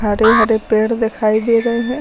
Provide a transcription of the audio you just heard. हरे हरे पेड़ दिखाई दे रहे हैं।